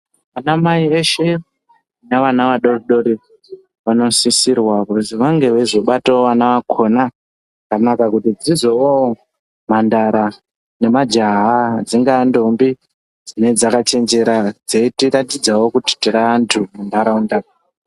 Vana mai veshee nevana vadoodori vanosisirwa kuzi vange veyizobatawo vana vakona zvakanaka kuitira kuti dzizovawo mhandara nemajaha dzingava ntombi dzinenge dzakachenjera dzeyitiratidzawo kuti tiri wandu munharaunda.